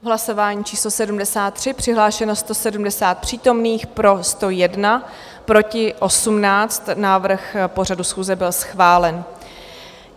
V hlasování číslo 73 přihlášeno 170 přítomných, pro 101, proti 18, návrh pořadu schůze byl schválen.